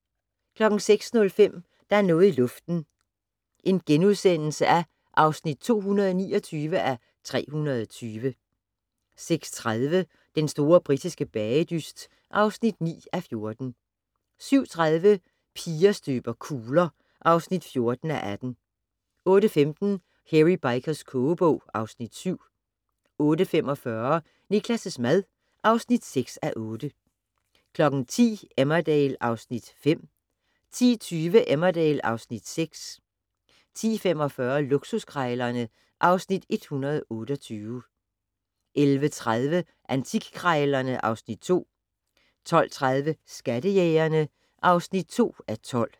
06:05: Der er noget i luften (229:320)* 06:30: Den store britiske bagedyst (9:14) 07:30: Piger støber kugler (14:18) 08:15: Hairy Bikers kogebog (Afs. 7) 08:45: Niklas' mad (6:8) 10:00: Emmerdale (Afs. 5) 10:20: Emmerdale (Afs. 6) 10:45: Luksuskrejlerne (Afs. 128) 11:30: Antikkrejlerne (Afs. 2) 12:30: Skattejægerne (2:12)